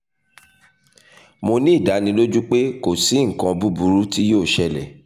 mo ni idaniloju pe ko si nkan buburu ti yoo ṣẹlẹ